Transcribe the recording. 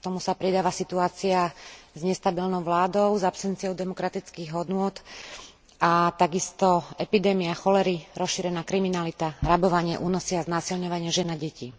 K tomu sa pridáva situácia s nestabilnou vládou s absenciou demokratických hodnôt a takisto epidémia cholery, rozšírená kriminalita, rabovanie, únosy a znásilňovanie žien a detí.